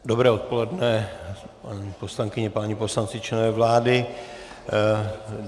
Dobré odpoledne, paní poslankyně, páni poslanci, členové vlády.